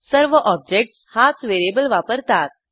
सर्व ऑब्जेक्टस हाच व्हेरिएबल वापरतात